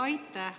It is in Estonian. Aitäh!